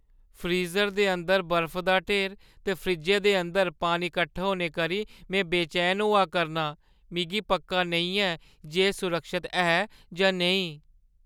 Freezer दे अंदर बर्फु दा ढेर ते फ्रिज्जै दे अंदर पानी कट्ठा होने करी में बेचैन होआ करनां; मिगी पक्का नेईं ऐ जे एह् सुरक्षत ऐ जां नेईं।